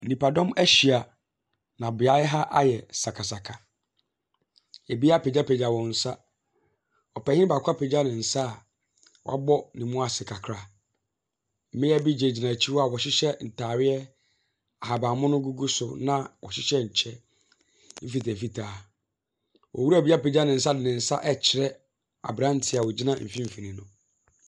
Nnipadɔm ahyia. Na beayɛ ha ayɛ sakasaka. Ɛbi apagyapagya wɔn nsa. Ɔpanin baako apagya ne nsa a wabɔ ne mu ase kakra. Mmea bi gyinagyina akyi hɔ a wɔhyehyɛ ntaareɛ ahabanmono gugu so na wɔhyɛhyɛ ɛkyɛ mfitaamfitaa. Owura bi apagya ne nsa de ne nsa ɛkyerɛ aberanteɛ a ɔgyina mfinfin no.